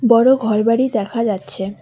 বড় ঘরবাড়ি দেখা যাচ্ছে।